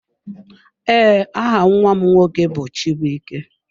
Ee, aha nnwa m nwoke bụ chibuike.